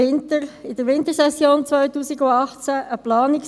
Budgetdebatte in der Wintersession 2018: